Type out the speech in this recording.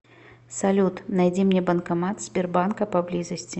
салют найди мне банкомат сбербанка поблизости